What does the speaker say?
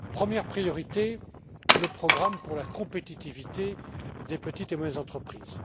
Première priorité, le programme pour la compétitivité des petites et moyennes entreprises.